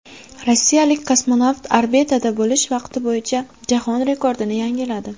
Rossiyalik kosmonavt orbitada bo‘lish vaqti bo‘yicha jahon rekordini yangiladi.